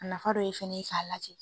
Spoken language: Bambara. A nafa dɔ ye fana ye ka lajɛ.